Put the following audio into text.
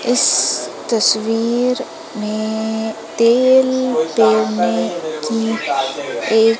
इस तस्वीर में तेल की एक